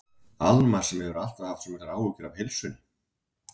Alma sem hefur alltaf haft svo miklar áhyggjur af heilsunni.